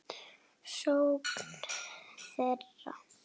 sókn þeirra?